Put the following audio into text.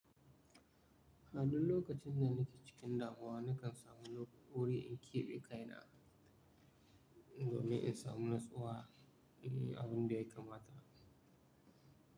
A duk lokacin da nake cikin damuwa, nakan samu wuri in keɓe kaina domin in samu natsuwa don yin abin da ya kamata.